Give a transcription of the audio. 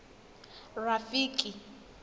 rafiki